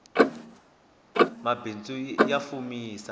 mbaindzu ya fumisa